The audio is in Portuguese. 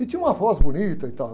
E tinha uma voz bonita e tal.